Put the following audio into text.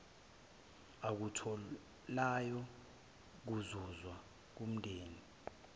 akutholayo kuzuzwe ngumndeni